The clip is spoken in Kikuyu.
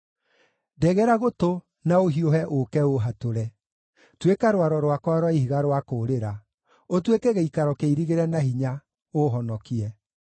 Ndegera gũtũ na ũhiũhe ũũke ũũhatũre; tuĩka rwaro rwakwa rwa ihiga rwa kũũrĩra, ũtuĩke gĩikaro kĩirigĩre na hinya, ũũhonokie.